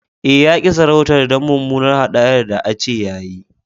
Eh, ya ki sarautan dan mumunar hadayan da an ce ya yi.